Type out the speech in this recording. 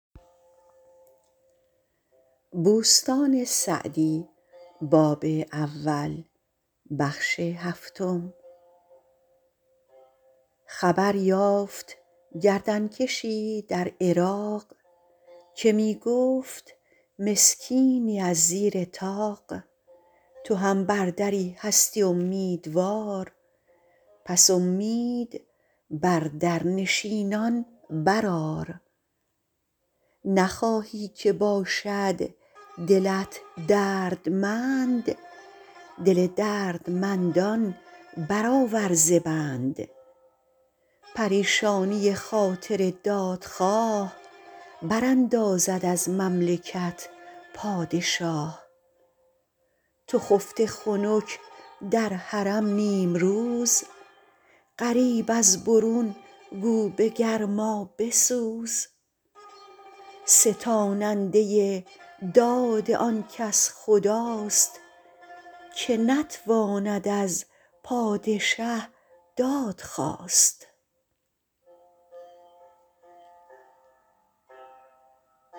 خبر یافت گردن کشی در عراق که می گفت مسکینی از زیر طاق تو هم بر دری هستی امیدوار پس امید بر در نشینان برآر نخواهی که باشد دلت دردمند دل دردمندان برآور ز بند پریشانی خاطر دادخواه براندازد از مملکت پادشاه تو خفته خنک در حرم نیمروز غریب از برون گو به گرما بسوز ستاننده داد آن کس خداست که نتواند از پادشه دادخواست